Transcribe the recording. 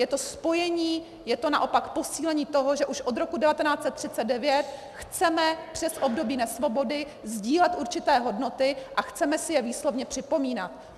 Je to spojení, je to naopak posílení toho, že už od roku 1939 chceme přes období nesvobody sdílet určité hodnoty a chceme si je výslovně připomínat.